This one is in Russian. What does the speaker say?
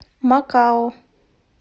макао